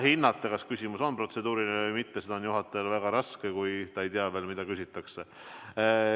Hinnata, kas küsimus on protseduuriline või mitte, on juhatajal väga raske – ta kohe ei tea ju, mida küsitakse.